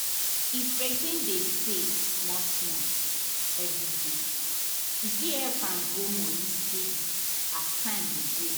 if person dey save small small every day e fit help am grow money steady as time dey go.